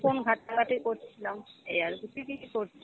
phone ঘাটা-ঘাটি করছিলাম এই আরকি , তুই কী কী করছিস?